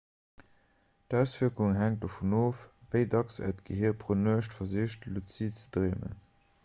d'auswierkung hänkt dovun of wéi dacks äert gehier pro nuecht versicht luzid ze dreemen